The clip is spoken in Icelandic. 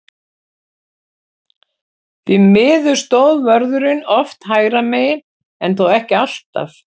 Því miður stóð vörðurinn oft hægra megin, en þó ekki alltaf.